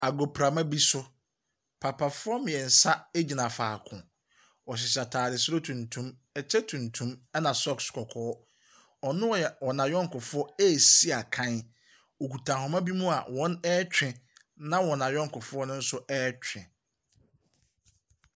Agoprama bi so, Papafoɔ mmeɛnsa gyina faako. Wɔhyehyɛ ataade soro tuntum, ɛkyɛ tuntum, ɛna socks kɔkɔɔ. Ɔne n'ayɔnkofoɔ resi akan. Wɔkita ahoma bi a wɔretwe, na wɔn ayɔnkofoɔ no nso retwe.